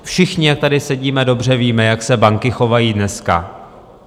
Všichni, jak tady sedíme, dobře víme, jak se banky chovají dneska.